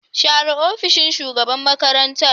Share ofishin shugaban makarantar